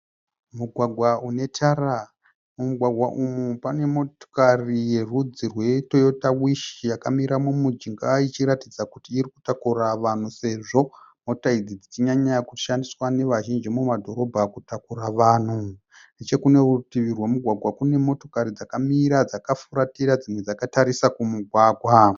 Mugwagwa une tara. Mumugwagwa umu pane motokari yerudzi rwe "Toyota Wish" yakamira mumujinga ichiratidza kuti iri kutakura vanhu sezvo mota idzi dzichichinyanya kushandiswa nevazhinji mumadhorobha kutakura vanhu. Nechekunorutivi rwemugwagwa kune motikari dzakamira dzakafuratira dzimwe dzakatarisa kumugwagwa.